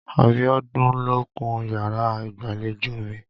Abiọ́dún ló kun yàrá ìgbàlejò mi.